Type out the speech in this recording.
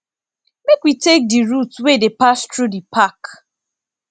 make we take di route wey dey pass through di park